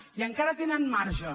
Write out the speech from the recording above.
i encara tenen marge